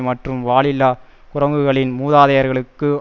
மற்றும் வாலில்லா குரங்குகளின் மூதாதையர்களுக்கு